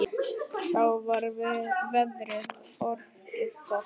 Þá var veðrið orðið gott.